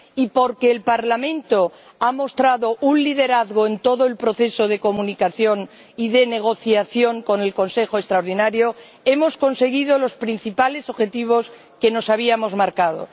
Y porque el Parlamento ha mostrado un liderazgo en todo el proceso de comunicación y de negociación con el Consejo extraordinario, hemos conseguido los principales objetivos que nos habíamos marcado.